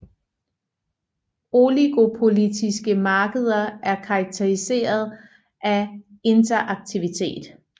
Oligopolistiske markeder er karakteriseret af interaktivitet